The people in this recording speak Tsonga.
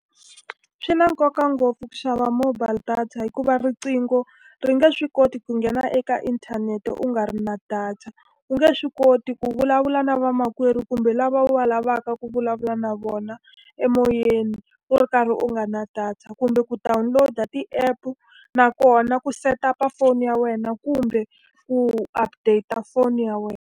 Swi na nkoka ngopfu ku xava mobile data hikuva rinqingo, ri nge swi koti ku nghena eka inthanete u nga ri na data. U nge swi koti ku vulavula na vamakwerhu kumbe lava u va lavaka ku vulavula na vona emoyeni u ri karhi u nga ri na data. Kumbe ku download-a ti-app-u, nakona ku set up-a foni ya wena kumbe ku update-a phone ya wena.